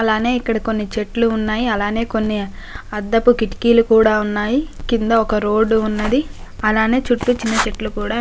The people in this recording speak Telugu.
అలానే ఇక్కడ కొన్ని చెట్లు ఉన్నాయి. అలానే కొన్ని అద్దపు కిటికీలు కూడా ఉన్నాయి. కింద ఒక రోడ్ ఉన్నది. అలానే చుట్టూ చిన్న చెట్లు కూడా--